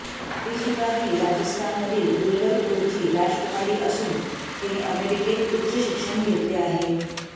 त्रिशिका ही राजस्थानमधील डूंगरपुरची राजकुमारी असून तिने अमेरिकेत उच्चशिक्षण घेतले आहे